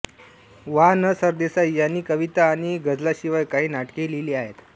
वा न सरदेसाई यांनी कविता आणि गझलांशिवाय काही नाटकेही लिहिली आहेत